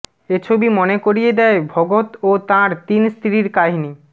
এ ছবি মনে করিয়ে দেয় ভগত ও তাঁর তিন স্ত্রীর কাহিনি